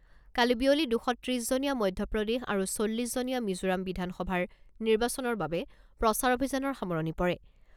কালি বিয়লি দুশ ত্ৰিছজনীয়া মধ্যপ্ৰদেশ আৰু চল্লিছ জনীয়া মিজোৰাম বিধানসভাৰ নিৰ্বাচনৰ বাবে প্ৰচাৰ অভিযানৰ সামৰণি পৰে।